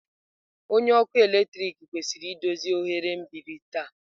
Onye ọkụ eletrik kwesịrị idozi oghere mgbidi taa.